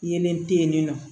Yeelen te yen nin nɔ